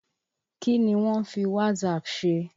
Kí ni wọ́n ń fi WhatsApp ṣe?